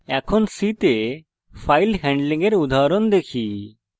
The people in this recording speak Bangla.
এখন c তে file handling এর উদাহরণ দেখি